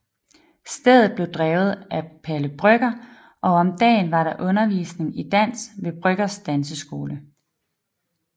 Stedet blev drevet af Palle Brøgger og om dagen var der undervisning i dans ved Brøggers danseskole